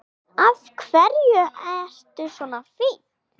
Af hverju ertu svona fín?